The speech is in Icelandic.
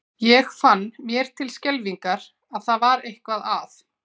Ég fann mér til skelfingar að það var eitthvað að.